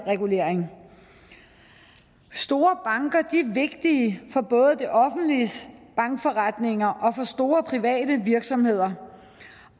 regulering store banker er vigtige for både det offentliges bankforretninger og for store private virksomheder